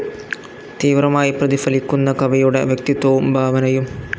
തീവ്രമായി പ്രതിഫലിക്കുന്ന കവിയുടെ വ്യക്തിത്വവും ഭാവനയും.